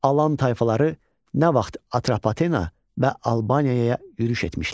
Alan tayfaları nə vaxt Atrpatena və Albaniyaya yürüş etmişlər?